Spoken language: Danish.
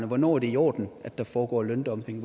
hvornår det er i orden at der foregår løndumping